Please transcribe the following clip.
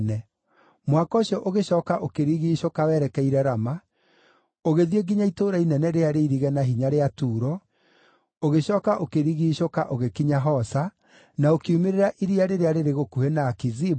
Mũhaka ũcio ũgĩcooka ũkĩrigiicũka werekeire Rama, ũgĩthiĩ nginya itũũra inene rĩrĩa rĩirige na hinya rĩa Turo, ũgĩcooka ũkĩrigiicũka ũgĩkinya Hosa, na ũkiumĩrĩra iria rĩrĩa rĩrĩ gũkuhĩ na Akizibu,